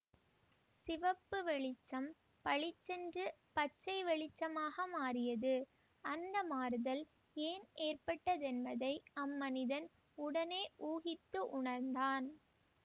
சிவப்பு வெளிச்சம் பளிச்சென்று பச்சை வெளிச்சமாக மாறியது அந்த மாறுதல் ஏன் ஏற்பட்ட தென்பதை அம் மனிதன் உடனே ஊகித்து உணர்ந்தான்